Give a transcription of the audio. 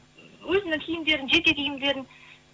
өзінің киімдерін жеке киімдерін